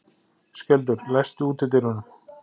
Skjöldur, læstu útidyrunum.